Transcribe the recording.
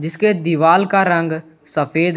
उसके दीवार का रंग सफेद है।